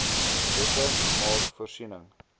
wette maak voorsiening